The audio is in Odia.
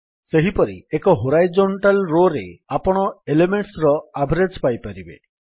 ସେହିପରି ଏକ ହୋରାଇଜୋଣ୍ଟାଲ୍ ରୋରେ ଆପଣ ଏଲେମେଣ୍ଟସ୍ ର ଆଭରେଜ୍ ପାଇପାରିବେ